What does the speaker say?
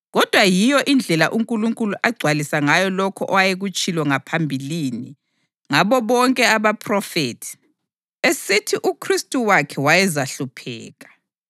Kodwa yiyo indlela uNkulunkulu agcwalisa ngayo lokho ayekutshilo ngaphambilini ngabo bonke abaphrofethi, esithi uKhristu wakhe wayezahlupheka.